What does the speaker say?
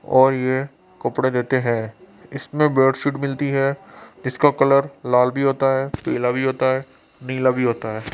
और ये कपड़े देते है इसमें बेडशीट मिलती है इसका कलर लाल भी होता है पीला भी होता है नीला भी होता है।